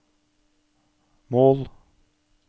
mål